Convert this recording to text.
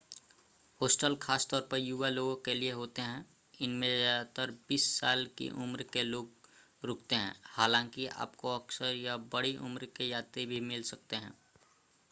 hostel खास तौर पर युवा लोगों के लिए होते हैं इनमें ज़्यादातर बीस साल की उम्र के लोग रुकते हैं हालांकि आपको अक्सर यहां बड़ी उम्र के यात्री भी मिल सकते हैं